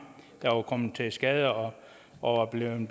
der er kommet til skade og og er blevet